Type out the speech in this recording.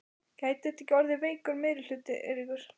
Gæti þetta ekki orðið veikur meirihluti, Eiríkur?